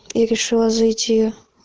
и решила зайти